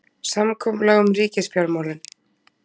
Samkomulag um ríkisfjármálin